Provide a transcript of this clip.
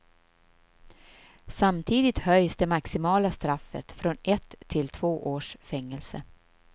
Samtidigt höjs det maximala straffet från ett till två års fängelse.